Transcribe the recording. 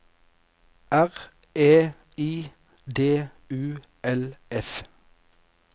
R E I D U L F